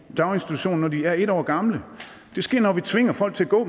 daginstitution når de er en år gamle det sker når vi tvinger folk til at gå